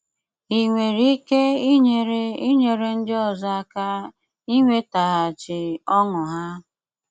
Ị nwéré íké ínyéré ínyéré ndị ọ́zọ́ áká ínwétágháchí ọṅụ há?